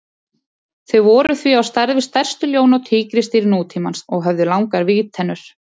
Þau voru því á stærð við stærstu ljón og tígrisdýr nútímans og höfðu langar vígtennur.